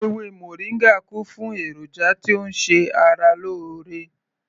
Ewé moringa kún fún èròjà tí ó ń ṣe ara lóore